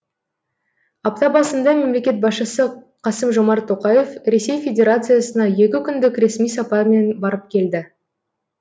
апта басында мемлекет басшысы қасым жомарт тоқаев ресей федерациясына екі күндік ресми сапармен барып келді